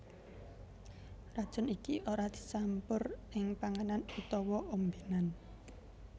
Racun iki ora dicampur ing panganan utawa ombénan